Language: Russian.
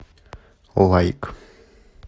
лайк